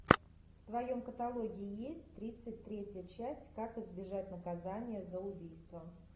в твоем каталоге есть тридцать третья часть как избежать наказания за убийство